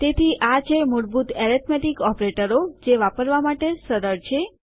તેથી આ છે મૂળભૂત એરીથમેટીક્સ ઓપરેટરો જે વાપરવા માટે સરળ છે